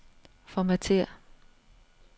Formatér.